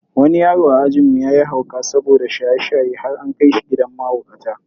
Wani yaro a ajinmu yayi hauka saboda shaye-shaye har an kai shi gidan mahaukata.